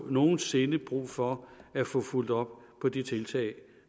nogensinde brug for at få fulgt op på de tiltag